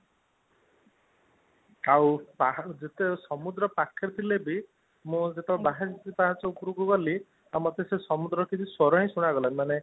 ବାହାରୁ ଯେତେ ସମୁଦ୍ର ପାଖରେ ଥିଲେ ବି ମୁଁ ଯେତେବେଳେ ବାଇଶି ପାହାଚ ଉପରକୁ ଗଲି ଆଉ ମତେ ସେ ସମୁଦ୍ର ସ୍ଵର ହିଁ ଶୁଣା ଗଲାନି